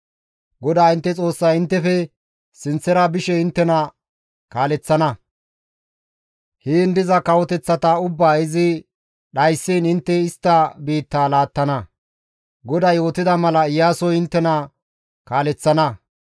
GODAA intte Xoossay inttefe sinththara bishe inttena kaaleththana; heen diza kawoteththata ubbaa izi dhayssiin intte istta biitta laattana; GODAY yootida mala Iyaasoy inttena kaaleththana.